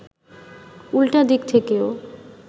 উল্টা দিক থেকেও